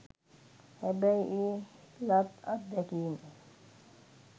හැබැයි ඒ ලත් අත්දැකීම